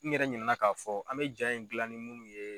N yɛrɛ ɲinɛ na k'a fɔ an bɛ jaa in gila ni munnu y